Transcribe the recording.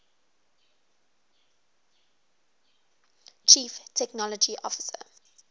chief technology officer